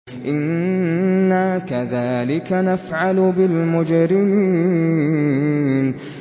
إِنَّا كَذَٰلِكَ نَفْعَلُ بِالْمُجْرِمِينَ